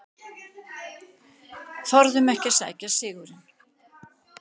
Þorðum ekki að sækja sigurinn